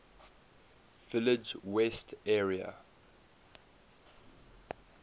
village west area